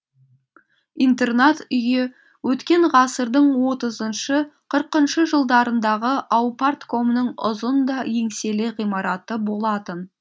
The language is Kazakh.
интернат үйі өткен ғасырдың отызыншы қырқыншы жылдарындағы аупарткомның ұзын да еңселі ғимараты болатын